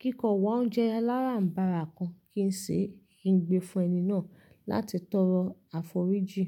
kí nkọ wá oúnjẹ alárànbarà kan kí n sè, kí n gbé fun ẹni náà láti tọrọ àforíjì.